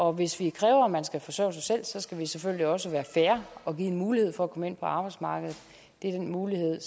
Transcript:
og hvis vi kræver at man skal forsørge sig selv skal vi selvfølgelig også være fair og give mulighed for at komme ind på arbejdsmarkedet det er den mulighed